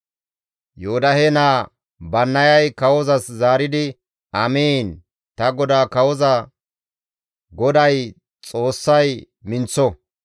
Yoodahe naa Bannayay kawozas zaaridi, «Amiin! Ta godaa kawoza, GODAY, Xoossay minththo!